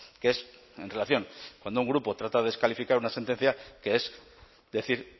que es en relación cuando un grupo trata de descalificar una sentencia que es decir